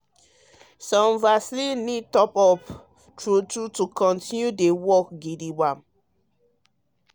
um ah some vaccine need top-up (booster) true um true to continue dey work um gidigbam.